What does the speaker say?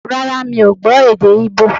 Rárá, mi ò gbọ́ èdè Ígbò